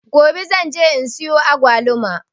Gobe zan je in siya agwaluma.